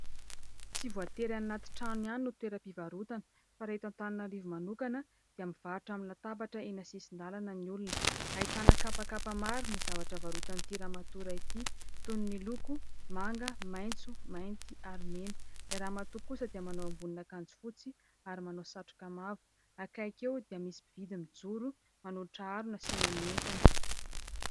Tsy voatery anaty trano ihany no toeram-pivarotana, fa raha eto Antananarivo manokana, dia mivarotra amin'ny latabatra eny an-tsisin-dalana ny olona. Ahitana kapakapa mar ny zavatra varotan'ity ramatora ity, toy ny loko manga, maitso, mainty, ary mena. Ilay Ramatoa kosa dia manao ambonin'akanjo fotsy ary manao satroka mavo. Akaiky eo, dia misy mpividy mijoro manolotra harona hasiana ny entany.